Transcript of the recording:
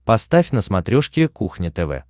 поставь на смотрешке кухня тв